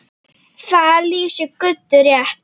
Það lýsir Guddu rétt.